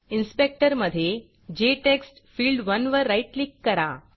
inspector मधे जेटेक्स्टफिल्ड1 वर राईट क्लिक करा